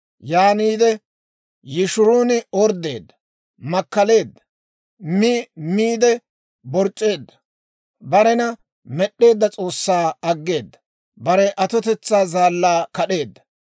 Yaaniide Yishruun orddeedda; makkaleedda; mi miide, boborc'c'eedda. Barena med'd'eedda S'oossaa aggeeda; bare Atotetsaa Zaallaa kad'eedda.